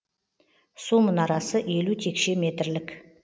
су мұнарасы елу текше метрлік